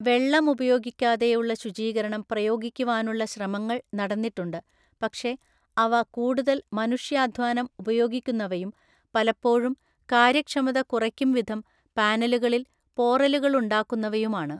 വെള്ളമുപയോഗിക്കാതെയുള്ള ശുചീകരണം പ്രയോഗിക്കുവാനുള്ള ശ്രമങ്ങൾ നടന്നിട്ടുണ്ട്, പക്ഷെ അവ കൂടുതൽ മനുഷ്യാധ്വാനം ഉപയോഗിക്കുന്നവയും, പലപ്പോഴും കാര്യക്ഷമത കുറയ്ക്കുംവിധം പാനലുകളിൽ പോറലുകളുണ്ടാക്കുന്നവയുമാണ്.